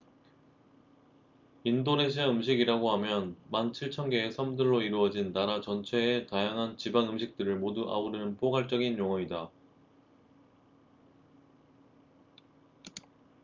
인도네시아 음식이라고 하면 17000개의 섬들로 이루어진 나라 전체의 다양한 지방 음식들을 모두 아우르는 포괄적인 용어이다